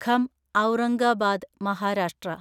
Gham Aurangabad Maharashtra